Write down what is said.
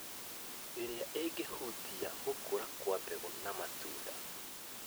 ĩrĩa ĩngĩhutia gũkũra kwa mboga na matunda.